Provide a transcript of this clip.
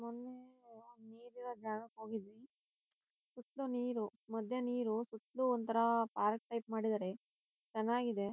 ಮೊನ್ನೆ ಅಹ ಒಂದ್ ನೀರ್ ಇರೋ ಜಾಗಕ್ ಹೋಗಿದ್ವಿ. ಸುತ್ತಲೂ ನೀರು ಮಧ್ಯ ನೀರು ಸುತ್ತಲೂ ಒಂತರ ಪಾರ್ಕ್ ಟೈಪ್ ಮಾಡಿದಾರೆ ಚೆನ್ನಾಗಿದೆ.